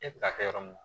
E bɛ taa kɛ yɔrɔ min